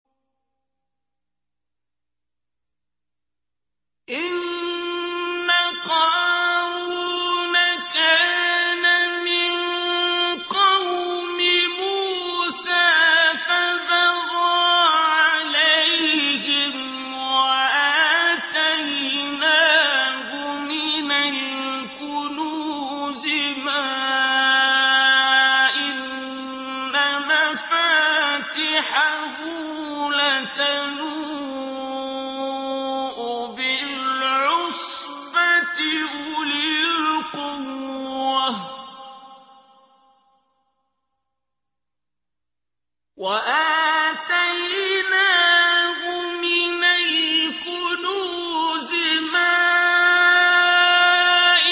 ۞ إِنَّ قَارُونَ كَانَ مِن قَوْمِ مُوسَىٰ فَبَغَىٰ عَلَيْهِمْ ۖ وَآتَيْنَاهُ مِنَ الْكُنُوزِ مَا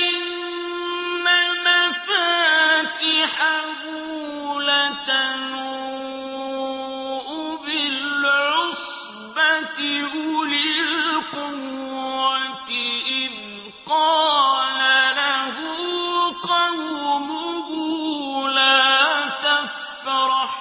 إِنَّ مَفَاتِحَهُ لَتَنُوءُ بِالْعُصْبَةِ أُولِي الْقُوَّةِ إِذْ قَالَ لَهُ قَوْمُهُ لَا تَفْرَحْ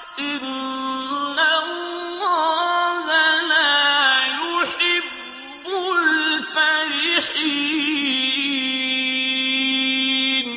ۖ إِنَّ اللَّهَ لَا يُحِبُّ الْفَرِحِينَ